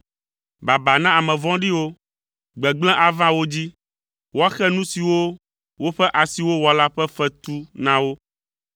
Baba na ame vɔ̃ɖiwo, gbegblẽ ava wo dzi. Woaxe nu siwo woƒe asiwo wɔ la ƒe fetu na wo.